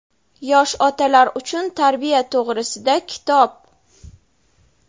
Yosh otalar uchun tarbiya to‘g‘risida kitob.